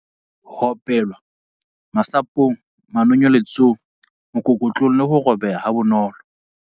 Ho opelwa- Masapo ng, manonyeletso ng, mokokotlong le ho robeha ha bonolo.